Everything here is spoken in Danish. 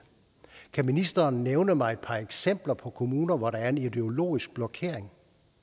kan ministeren nævne mig et par eksempler på kommuner hvor der er en ideologisk blokering